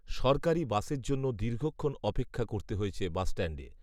সরকারি বাসের জন্য দীর্ঘক্ষণ অপেক্ষা করতে হয়েছে বাসস্ট্যাণ্ডে